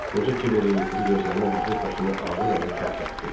Qoca Kibərin yuxulu gözlərinə baxıb başını ağır-ağır tərpətdi.